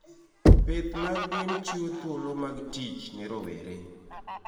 Pith mag gwen chiwo thuolo mag tich ne rowere.